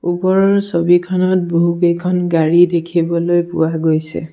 ওপৰৰ ছবিখনত বহুকেইখন গাড়ী দেখিবলৈ পোৱা গৈছে।